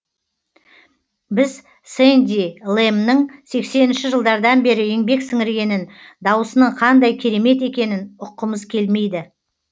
біз сэнди лэмның сексенінші жылдардан бері еңбек сіңіргенін даусының қандай керемет екенін ұққымыз келмейді